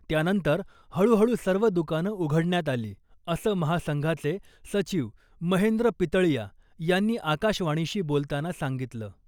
त्यानंतर हळूहळू सर्व दुकानं उघडण्यात आली , असं महासंघाचे सचिव महेंद्र पितळीया यांनी आकाशवाणीशी बोलताना सांगितलं .